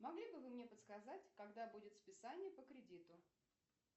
могли бы вы мне подсказать когда будет списание по кредиту